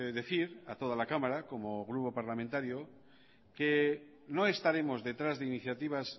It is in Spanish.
decir a toda la cámara como grupo parlamentario que no estaremos detrás de iniciativas